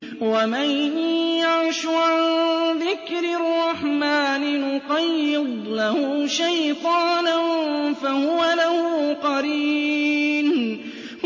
وَمَن يَعْشُ عَن ذِكْرِ الرَّحْمَٰنِ نُقَيِّضْ لَهُ شَيْطَانًا فَهُوَ لَهُ قَرِينٌ